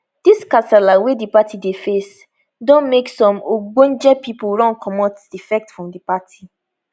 dis kasala wey di party dey face don make some ogbonge pipo run comot defect from di party